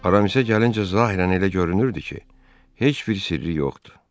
Aramisə gəlincə, zahirən elə görünürdü ki, heç bir sirri yoxdur.